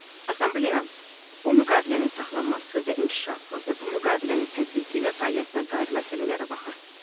Assambleya bu müqavilənin saxlanması və inkişafı və bu müqavilənin tətbiqi və fəaliyyətinə dair məsələlərə baxır.